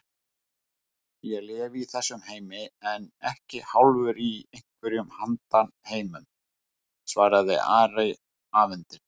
Ég lifi í þessum heimi en ekki hálfur í einhverjum handan-heimum, svaraði Ari afundinn.